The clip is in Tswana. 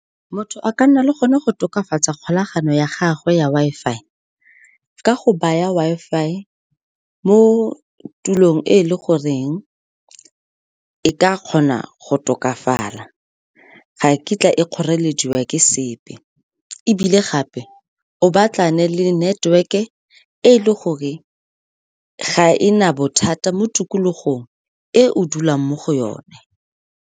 Motho a ka nna le gone go tokafatsa kgolagano ya gagwe ya Wi-Fi ka go baya Wi-Fi mo tulong e le goreng e ka kgona go tokafala. Ga kitla e kgorelediwa ke sepe, ebile gape o batlane le network-e e leng gore ga e na bothata mo tikologong e o dulang mo go yone.